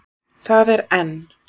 Það er enn.